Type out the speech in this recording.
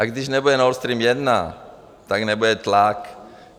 A když nebude Nord Stream 1, tak nebude tlak.